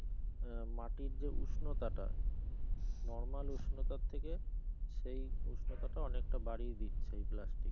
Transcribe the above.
আহ মাটির যে উষ্ণতাটা normal উষ্ণতার থেকে সেই উষ্ণতাটা অনেকটা বাড়িয়ে দিচ্ছে এই plastic